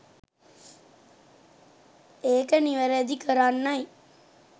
ඒක නිවැරදි කරන්නයි